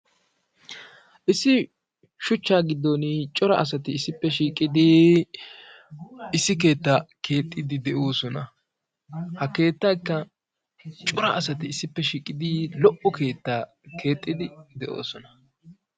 Issi shuchchaa giddon cora asati issippe shiiqidi issi keetta keexxidi de'oosona. Ha keettakka cora asati issippe shiiqidi lo''o keettaa keexxidi de'oosona.